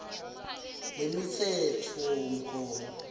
lemitsetfomgomo